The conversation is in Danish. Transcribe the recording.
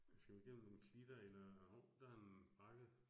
Skal vi igennem nogle klitter eller hov, der en bakke